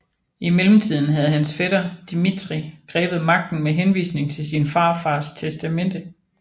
I mellemtiden havde hans fætter Dmitrij grebet magten med henvisning til sin farfaders testamente